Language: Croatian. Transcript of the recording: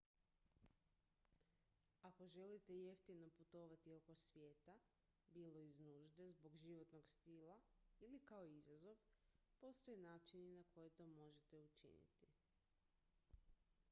ako želite jeftino putovati oko svijeta bilo iz nužde zbog životnog stila ili kao izazov postoje načini na koje to možete učiniti